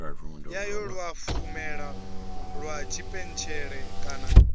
yayo luafhulelo lwa tshipentshele kana